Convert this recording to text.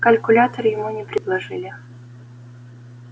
калькулятор ему не предложили